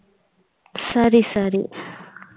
சரி சரி